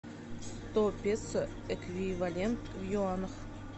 сто песо эквивалент в юанях